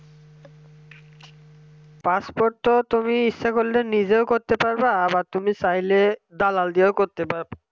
passport তো তুমি ইচ্ছা করলে নিজেও করতে পারবা আবার চাইলে দালাল দিয়েও করতে পারবা